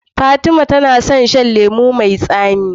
Fatima na son yan shan lemo me tsami